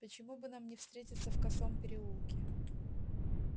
почему бы нам не встретиться в косом переулке